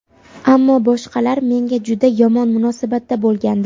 Ammo boshqalar menga juda yomon munosabatda bo‘lgandi.